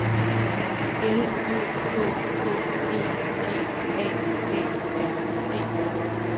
L Ø K K E G A A R D